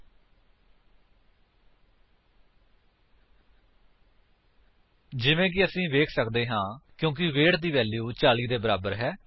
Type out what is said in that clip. ਜਿਵੇਂ ਕਿ ਅਸੀ ਵੇਖ ਸੱਕਦੇ ਹਾਂ ਆਉਟਪੁਟ ਫਾਲਸ ਹੈ ਕਿਉਂਕਿ ਵੇਟ ਦੀ ਵੈਲਿਊ 40 ਦੇ ਬਰਾਬਰ ਨਹੀਂ ਹੈ